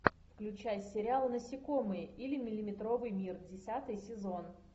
включай сериал насекомые или миллиметровый мир десятый сезон